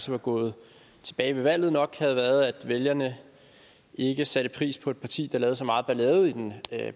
var gået tilbage ved valget nok havde været at vælgerne ikke satte pris på et parti der lavede så meget ballade i den